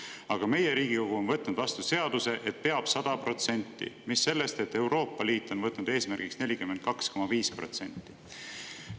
Aga Riigikogu on võtnud vastu seaduse, et peab olema 100%, mis sellest, et Euroopa Liit on võtnud eesmärgiks 42,5%.